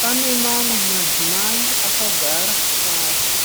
Pane mamwe madzimai akagara pasi.